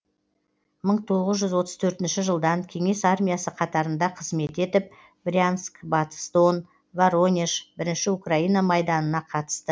мың тоғыз жүз отыз төртінші жылдан кеңес армиясы қатарында қызмет етіп брянск батыс дон воронеж бірінші украина майданына қатысты